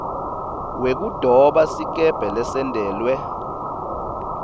wekudoba sikebhe lesentelwe